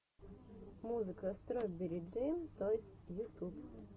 музыка строберри джэм тойс ютуб